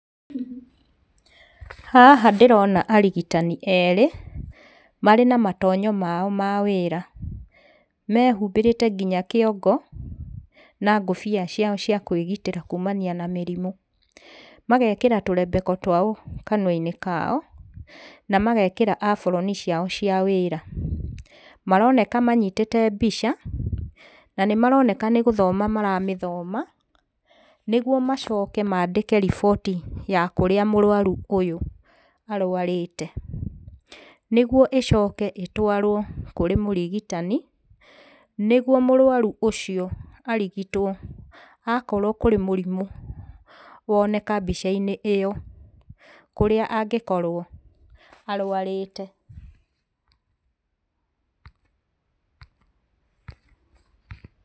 Haha ndĩrona arigitani erĩ, marĩ na matonyo mao mawĩra, mehubĩrĩte nginya kĩongo, na ngũbia ciao cia kwĩgitĩra kumania na mũrimũ, magekĩra tũrebeko twao kanua-inĩ kao, na magekĩra aburoni ciao cia wĩra, maroneka manyitĩte mbica, na nĩ maroneka nĩ gũthoma maramĩthoma, nĩguo macoke mandĩke riboti ya kũrĩa mũrwaru ũyũ arwarĩte, nĩguo ĩcoke ĩtwarwo kũrĩ mũrigitani, nĩguo mũrwaru ũcio arigitwo okorwo kũrĩ mũrimũ woneka mbica-inĩ ĩyo, kũrĩa angĩkorwo arwarĩte.